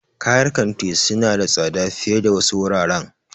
Kayar kanti suna da tsada fiye da wasu wuraren.